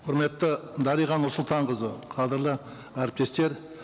құрметті дариға нұрсұлтанқызы қадірлі әріптестер